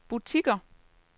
butikker